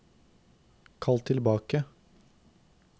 kall tilbake